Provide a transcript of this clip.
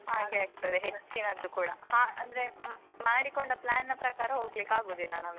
ಹಾಗೆ ಆಗ್ತದೆ ಹೆಚ್ಚಿನದ್ದು ಕೂಡಾ. ಹಾ ಅಂದ್ರೆ ಮಾಡಿಕೊಂಡ plan ನ ಪ್ರಕಾರ ಹೋಗ್ಲಿಕ್ಕಾಗುದಿಲ್ಲ ನಮಗೆ.